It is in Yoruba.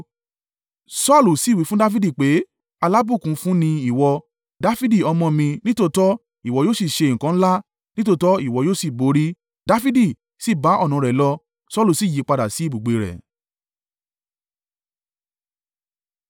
Saulu sì wí fún Dafidi pé, “Alábùkún fún ni ìwọ, Dafidi ọmọ mi: nítòótọ́ ìwọ yóò sì ṣe nǹkan ńlá, nítòótọ́ ìwọ yóò sì borí.” Dafidi sì bá ọ̀nà rẹ̀ lọ, Saulu sì yípadà sí ibùgbé rẹ̀.